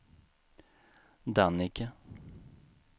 Dannike